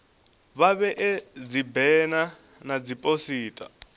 vha vhee dzibena na dziphosita